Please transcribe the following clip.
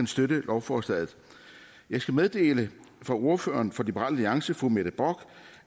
støtte lovforslaget jeg skal meddele fra ordføreren for liberal alliance fru mette bock